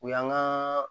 O y'an ka